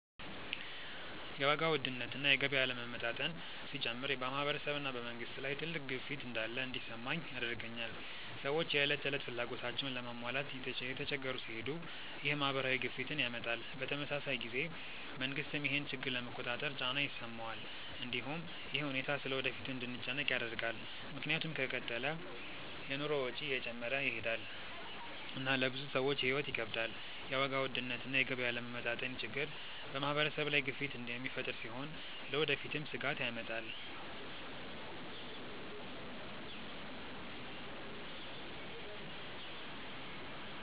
የዋጋ ውድነት እና የገቢ አለመመጣጠን ሲጨምር በማህበረሰብ እና በመንግስት ላይ ትልቅ ግፊት እንዳለ እንዲሰማኝ ያደርገኛል። ሰዎች የዕለት ተዕለት ፍላጎታቸውን ለመሟላት እየተቸገሩ ሲሄዱ ይህ ማህበራዊ ግፊትን ያመጣል። በተመሳሳይ ጊዜ መንግስትም ይህን ችግር ለመቆጣጠር ጫና ይሰማዋል። እንዲሁም ይህ ሁኔታ ስለ ወደፊቱ እንድንጨነቅ ያደርጋል፣ ምክንያቱም ከተቀጠለ የኑሮ ወጪ እየጨመረ ይሄዳል እና ለብዙ ሰዎች ሕይወት ይከብዳል። የዋጋ ውድነት እና የገቢ አለመመጣጠን ችግር በማህበረሰብ ላይ ግፊት የሚፈጥር ሲሆን ለወደፊትም ስጋት ያመጣል።